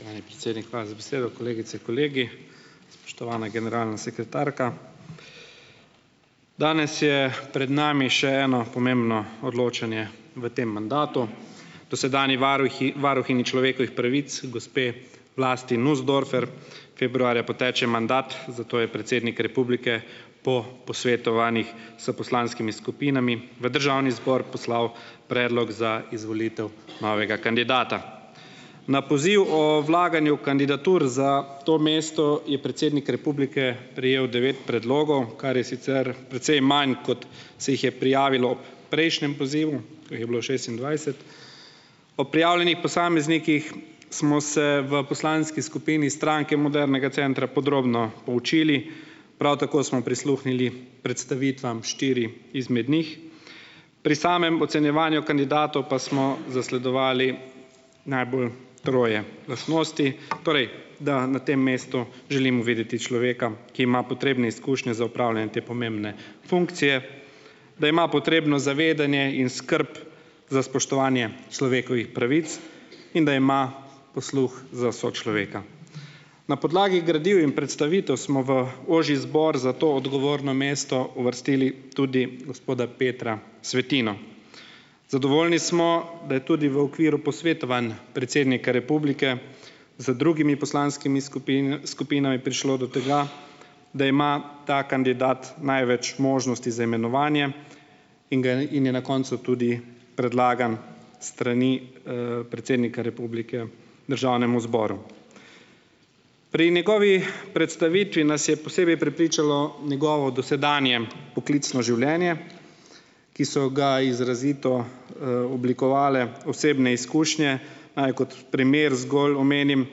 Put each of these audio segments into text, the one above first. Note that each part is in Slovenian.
Spoštovani predsednik, hvala za besedo, kolegice in kolegi, spoštovana generalna sekretarka. Danes je pred nami še eno pomembno odločanje v tem mandatu dosedanji varuhi varuhinji človekovih pravic, gospe Vlasti Nussdorfer. Februarja poteče mandat, zato je predsednik republike po posvetovanjih s poslanskimi skupinami v državni zbor poslal predlog za izvolitev novega kandidata. Na poziv o vlaganju kandidatur za to mesto je predsednik republike prejel devet predlogov, kar je sicer precej manj, kot se jih je prijavilo prejšnjem pozivu, ko jih je bilo šestindvajset. Po prijavljenih posameznikih smo se v poslanski skupini Stranke modernega centra podrobno poučili, prav tako smo prisluhnili predstavitvam štirih izmed njih, pri samem ocenjevanju kandidatov pa smo zasledovali najbolj troje lastnosti, torej da na tem mestu želim videti človeka, ki ima potrebne izkušnje z opravljanjem te pomembne funkcije, da ima potrebno zavedanje in skrb za spoštovanje človekovih pravic in da ima posluh za sočloveka. Na podlagi gradiv in predstavitev smo v ožji zbor za to odgovorno mesto uvrstili tudi gospoda Petra Svetino. Zadovoljni smo, da je tudi v okviru posvetovanj predsednik republike z drugimi poslanskimi skupinami prišel do tega, da ima ta kandidat največ možnosti za imenovanje in in je na koncu tudi predlagan s strani, predsednika republike državnemu zboru. Pri njegovi predstavitvi nas je posebej prepričalo njegovo dosedanje poklicno življenje, ki so ga izrazito m oblikovale osebne izkušnje, naj kot primer zgolj omenim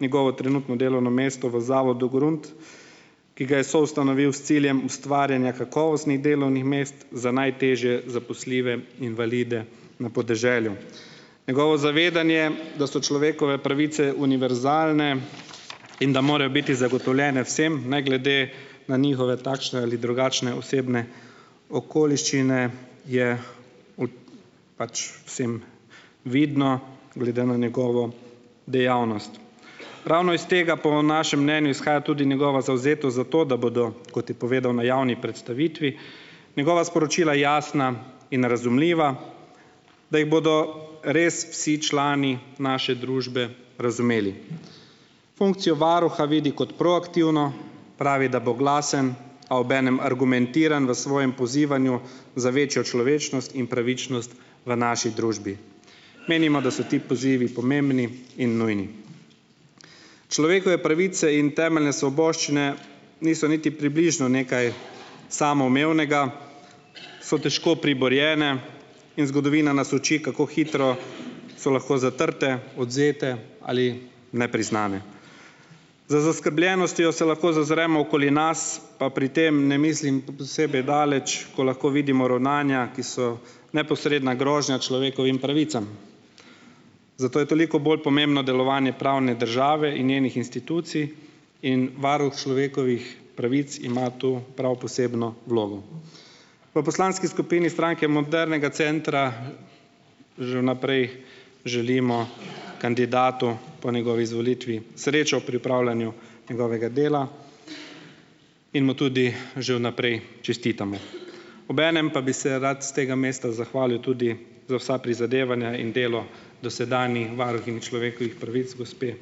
njegovo trenutno delovno mesto v zavodu Grunt, ki ga je soustanovil s ciljem ustvarjanja kakovostnih delovnih mest za najtežje zaposljive invalide na podeželju, njegovo zavedanje, da so človekove pravice univerzalne in da morajo biti zagotovljene vsem, ne glede na njihove takšne ali drugačne osebne okoliščine, je pač vsem vidno glede na njegovo dejavnost. Ravno iz tega po vam našem mnenju izhaja tudi njegova zavzetost za to, da bodo, kot je povedal na javni predstavitvi, njegova sporočila jasna in razumljiva, da jih bodo res vsi člani naše družbe razumeli. Funkcijo varuha vidi kot proaktivno, pravi, da bo glasen, a obenem argumentiran v svojem pozivanju za večjo človečnost in pravičnost v naši družbi. Menimo, da so ti pozivi pomembni in nujni, človekove pravice in temeljne svoboščine niso niti približno nekaj samoumevnega, so težko priborjene in zgodovina nas uči, kako hitro so lahko zatrte, odvzete ali nepriznane, z zaskrbljenostjo se lahko zazremo okoli nas, pa pri tem ne mislim posebej daleč, ko lahko vidimo ravnanja, ki so neposredna grožnja človekovim pravicam, zato je toliko bolj pomembno delovanje pravne države in njenih institucij, in varuh človekovih pravic ima to prav posebno vlogo. V poslanski skupini Stranke modernega centra že vnaprej želimo kandidatu po njegovi izvolitvi srečo pri opravljanju njegovega dela in mu tudi že vnaprej čestitamo, obenem pa bi se rad s tega mesta zahvalil tudi za vsa prizadevanja in delo dosedanji varuhinji človekovih pravic gospe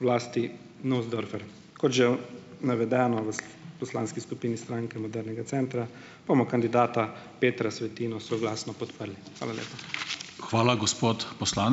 Vlasti Nussdorfer, kot že navedeno v poslanski skupini Stranke modernega centra, bomo kandidata Petra Svetino soglasno podprli, hvala lepa. Hvala, gospod ...